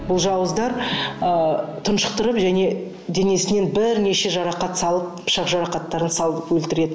бұл жауыздар ы тұншықтырып және денесіне бірнеше жарақат салып пышақ жарақаттарын салып өлтіреді